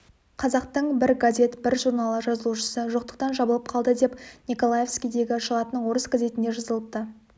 қазақтың бір газет бір журналы жазылушысы жоқтықтан жабылып қалды деп николаевскідегі шығатын орыс газетінде жазылыпты